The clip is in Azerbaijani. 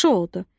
Yaxşı oldu.